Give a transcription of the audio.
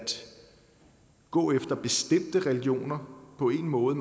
gå efter bestemte religioner på en måde